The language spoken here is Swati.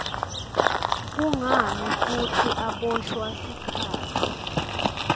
kungani futsi aboshwa sikhatsi